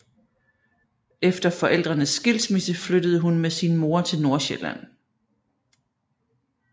Efter forældrenes skilsmisse flyttede hun med sin mor til Nordsjælland